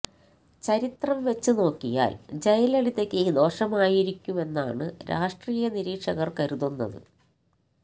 ചരിത്രം വച്ച് നോക്കിയാല് ജയലളിതയ്ക്ക് ദോഷമായിരിക്കുമെന്നാണ് രാഷ്ട്രീയ നിരീക്ഷകര് കരുതുന്നത്